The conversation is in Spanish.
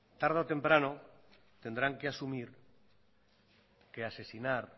tarde o temprano tendrán que asumir que asesinar